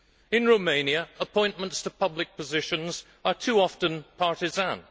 In Romania, appointments to public positions are too often partisan.